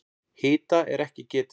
Hita er ekki getið.